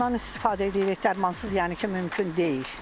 Dərmanlardan istifadə edirik, dərmansız yəni ki, mümkün deyil.